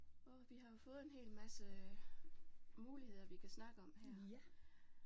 Åh vi har jo fået en hel masse muligheder vi kan snakke om her